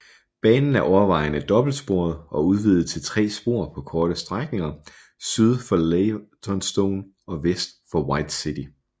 Banen er overvejende dobbelsporet og udvidet til tre spor på korte strækninger syd for Leytonstone og vest for White City